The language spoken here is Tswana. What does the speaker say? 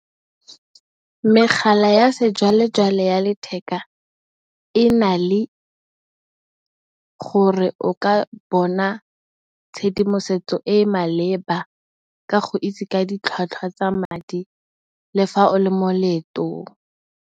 Megala ya sejwalejwale ya letheka e na le gore o ka bona tshedimosetso e e maleba ka go itse ka ditlhwatlhwa tsa madi le fa o le mo leetong.